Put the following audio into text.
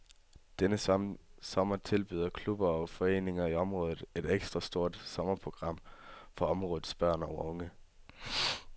Denne sommer tilbyder klubber og foreninger i området et ekstra stort sommerprogram for områdets børn og unge.